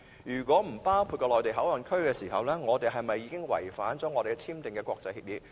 如果不包括內地口岸區，我們是否違反已簽訂的國際協議？